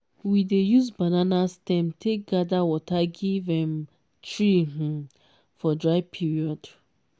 we dey use banana stem take gather water give um tree um for dry period/